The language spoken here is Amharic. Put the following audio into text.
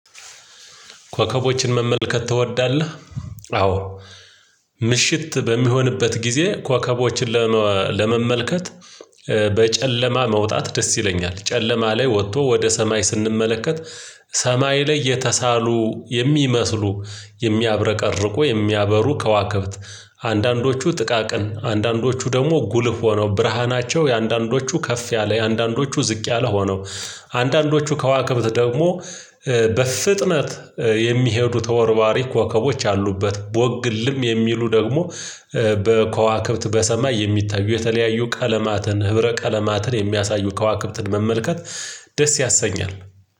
ኮከቦችን መመልከት ትወዳለህ? አዎ ምሽት በሚሆንበት ጊዜ ኮከቦችን ለመመልከት በጨለማ መውጣት ደስ ይለኛል ጨለማ ላይ ወጥቶ ወደ ሰማይ ስንመለከት ሰማይ ላይ የተሳሉ የሚመስሉ የሚያብረቀርቁ የሚያበሩ ከዋክብት አንዳንዶቹ ጥቃቅን አንዳንዶቹ ደግሞ ጉልህ ሆነው ብርሃናቸው የአንዳንዶቹ ከፍ ያለ የአንዳንዶቹ ዝቅ ያለ ሆነው አንዳንዶቹ ከዋክብት ደግሞ በፍጥነት የሚሄዱ ተወርዋሪ ኮከቦች አሉበት ቦግልም የሚሉ ደግሞ በኮዋክብት በሰማይ የሚታዩ የተለያዩ ቀለማትን ህብረ ቀለማትን የሚያሳዩ ከዋክብትን መመልከት ደስ ያሰኛል